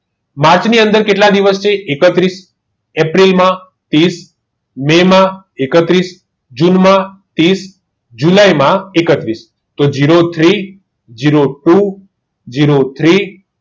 માર્ચની અંદર કેટલા દિવસથી એકત્રીસ એપ્રિલમાં ત્રીસ મે એકત્રીસ જૂનમાં ત્રીસ જુલાઈમાં એકત્રીસ zero three zero two zero three